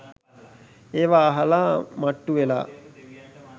එවා අහල මට්ටු ‍වෙලා